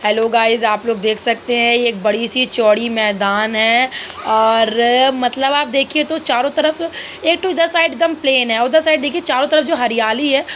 hello guys आप लोग देख सकते हैं एक बड़ी सी चौड़ी मैदान हैं और मतलब आप देखिये तो चारो तरफ ये तो साइड सब प्लेन है उधर साइड देखिए चारो तरफ हरियाली है --